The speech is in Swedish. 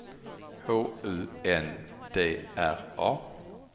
H U N D R A